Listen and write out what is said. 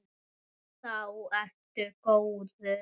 Þá ertu góður.